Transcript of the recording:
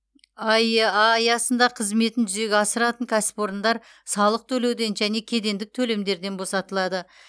аэа аясында қызметін жүзеге асыратын кәсіпорындар салық төлеуден және кедендік төлемдерден босатылады